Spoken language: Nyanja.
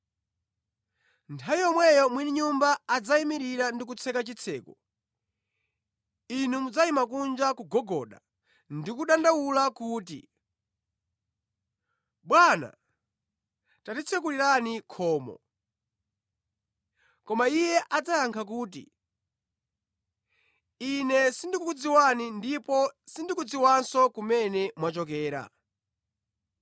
Nthawi yomwe mwini nyumba adzayimirira ndi kutseka chitseko, inu mudzayima kunja kugogoda ndi kudandaula kuti, ‘Bwana, tatitsekulirani khomo.’ “Koma Iye adzayankha kuti, ‘Ine sindikukudziwani ndipo sindikudziwanso kumene mwachokera.’